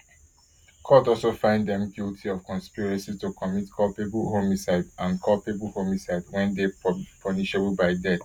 court also find dem guilty of conspiracy to commit culpable homicide and culpable homicide wey dey punishable by death